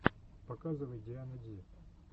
показывай диана ди